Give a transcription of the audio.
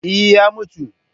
Eh, ya mutu